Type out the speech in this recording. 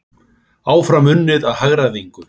Áfram unnið að hagræðingu